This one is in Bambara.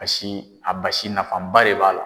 Basi a basi nafaba de b'a la.